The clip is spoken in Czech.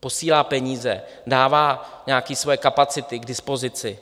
posílá peníze, dává nějaké své kapacity k dispozici.